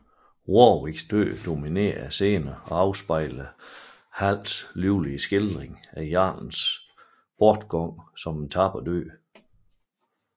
Warwicks død dominerer scenerne og afspejler Halls livlige skildring af jarlens bortgang som en tapper død